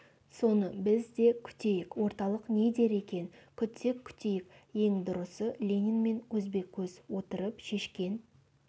соны біз де күтейік орталық не дер екен күтсек күтейік ең дұрысы ленинмен көзбе-көз отырып шешкен